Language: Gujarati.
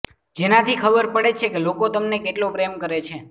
જેનાથી ખબર પડે છે કે લોકો તેમને કેટલો પ્રેમ કરે છે